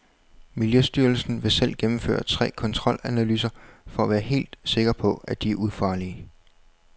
Miljøstyrelsen vil selv gennemføre tre kontrolanalyser for at være helt sikker på, at de er ufarlige.